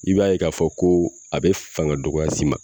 I b'a ye k'a fɔ ko a be fanga dɔgɔya s'i ma